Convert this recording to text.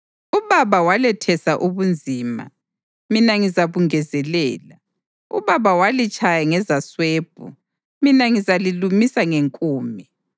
Ubaba walethesa ubunzima, mina ngizabungezelela. Ubaba walitshaya ngezaswebhu, mina ngizalilumisa ngenkume.’ ”